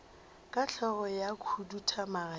ka hlogo ya khuduthamaga ya